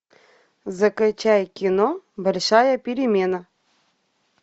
закачай кино большая перемена